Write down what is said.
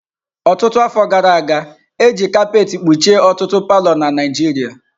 Ọtụtụ afọ gara aga, e ji kapet kpuchie ọtụtụ palọ na Naijiria.